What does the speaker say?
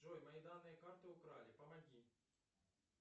джой мои данные карты украли помоги